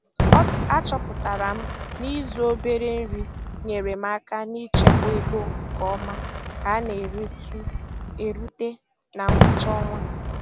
A chọpụtara m na ịzụ obere nri nyeere m aka n'ichekwa ego nke ọma ka a na-erute na ngwụcha ọnwa.